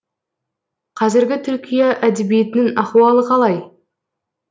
қазіргі түркия әдебиетінің ахуалы қалай